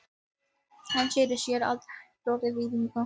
Hann sneri sér að Þjóðverjanum.